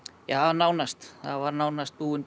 nánast hann var nánast búinn